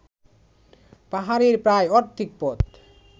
পাহাড়ের প্রায় অর্ধেক পথ